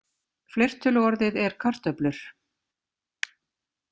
Fleirtöluorðið er karöflur.